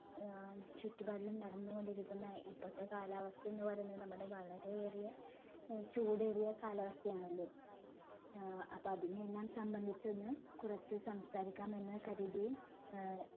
ഏർ ചുറ്റുപാടിലും നടന്നുകൊണ്ടിരിക്കുന്ന ഇപ്പോഴത്തെ കാലാവസ്ഥ എന്ന് പറയുന്നത് നമ്മുടെ വളരെ ഏറിയ ഏർ ചൂടേറിയ കാലാവസ്ഥയാണല്ലോ ഏർ അപ്പോ അതിനെയെല്ലാം സംബന്ധിച്ച് ഒന്ന് കുറച്ച് സംസാരിക്കാമെന്ന് കരുതി ഏർ